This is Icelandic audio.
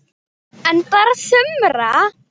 En bara sumra.